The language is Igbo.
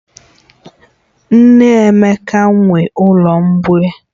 Nne Emeka nwe ụlọ mgbei